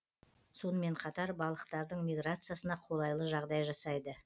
сонымен қатар балықтардың миграциясына қолайлы жағдай жасайды